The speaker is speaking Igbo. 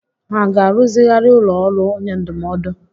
Hà ga-arụzigharị ụlọ ọrụ onye ndụmọdụ?